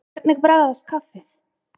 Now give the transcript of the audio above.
Hvernig bragðast kaffið?